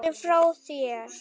Nei, ertu frá þér!